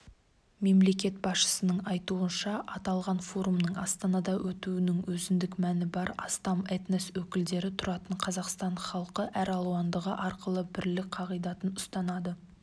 мемлекет басшысының айтуынша аталған форумның астанада өтуінің өзіндік мәні бар астам этнос өкілдері тұратын қазақстан халқы әралуандығы арқылы бірлік қағидатын ұстанады